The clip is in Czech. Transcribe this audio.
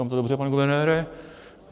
Říkám to dobře, pane guvernére?